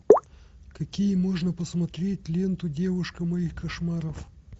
какие можно посмотреть ленту девушка моих кошмаров